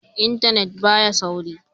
Intanet ba ya sauri.